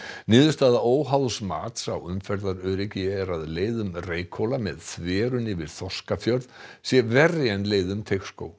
niðurstaða óháðs mats á umferðaröryggi er að leið um Reykhóla með þverun yfir Þorskafjörð sé verri en leið um Teigsskóg